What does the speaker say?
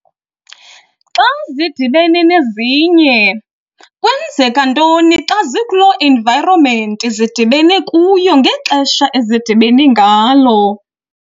xa zidibene nezinye, kwenzeka ntoni xa zikuloo environment zidibene kuyo ngexesha ezidibene ngalo.